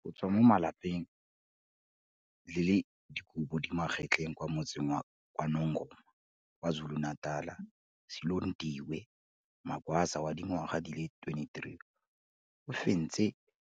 Go tswa mo lapeng le le dikobo di magetleng kwa Motseng wa KwaNongoma, KwaZulu-Natal, Silondiwe Magwaza wa dingwaga di le 23, o fentse